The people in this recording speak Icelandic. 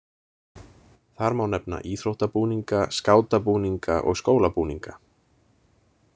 Þar má nefna íþróttabúninga, skátabúninga og skólabúninga.